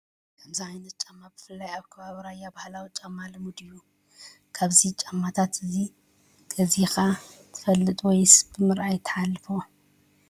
ከምዚ ዓይነት ጫማ ብፍላይ ኣብ ከባቢ ራያ ባህላዊ ጫማ ልሙድ እዩ። ካብዚ ጫማታት እዚ ገዚእካ ዶ ትፈልጥ ወይስ ብምርኣይ ትሓልፎ?